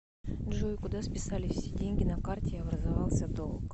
джой куда списались все деньги на карте и образовался долг